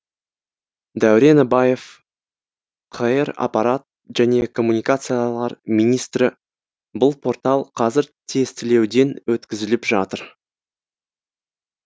дәурен абаев қр аппарат және коммуникациялар министрі бұл портал қазір тестілеуден өткізіліп жатыр